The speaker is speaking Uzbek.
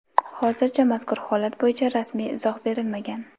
Hozircha mazkur holat bo‘yicha rasmiy izoh berilmagan.